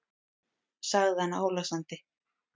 sagði hann álasandi.